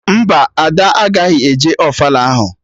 Mba, Ada agaghị eje ofala ahụ